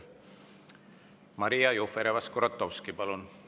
Maria Jufereva-Skuratovski, palun!